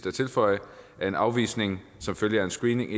at tilføje at en afvisning som følge af en screening